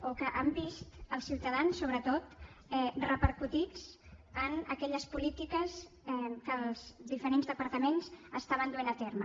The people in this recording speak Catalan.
o que s’han vist els ciutadans sobretot repercutits en aquelles polítiques que els diferents departaments estaven duent a terme